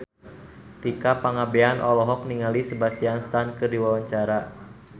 Tika Pangabean olohok ningali Sebastian Stan keur diwawancara